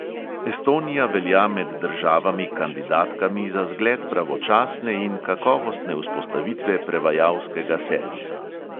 Estonija velja med državami kandidatkami za zgled pravočasne in kakovostne vzpostavitve prevajalskega servisa.